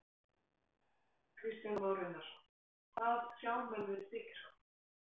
Kristján Már Unnarsson: Hvað sjá menn við Stykkishólm?